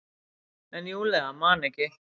En Júlía man ekki.